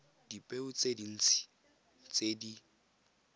dipeo tse dintsi tse di